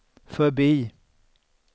förbi